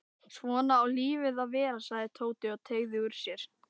Svona á lífið að vera sagði Tóti og teygði úr sér.